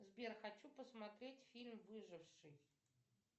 сбер хочу посмотреть фильм выживший